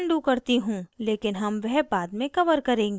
लेकिन हम वह बाद में cover करेंगे